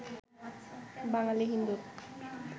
বাঙালি হিন্দুর